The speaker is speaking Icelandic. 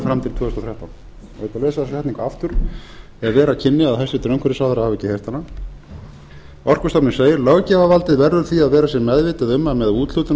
að lesa þessa setningu aftur ef vera kynni að hæstvirtur umhverfisráðherra hefði ekki heyrt hana orkustofnun segir löggjafarvaldið verður því að vera sér meðvitað um að með úthlutun